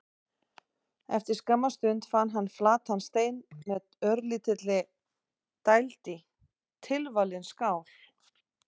Eftir skamma stund fann hann flatan stein með örlítilli dæld í: tilvalin skál.